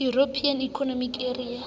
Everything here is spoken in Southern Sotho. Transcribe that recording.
european economic area